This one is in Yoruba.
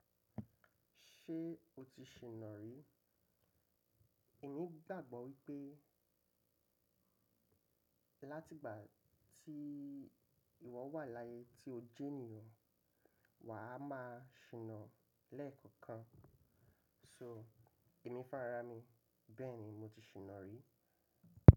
Ṣé o ti ṣìná rí? Èmi gbàgbọ́ wípé láti ìgbà tí ìwọ wà láyé tí o jẹ́ ènìyàn, wà á máa ṣìná lẹ́ẹ̀kan kan. So èmi fún ara mi, bẹ́ẹ̀ni mo ti ṣìná rí.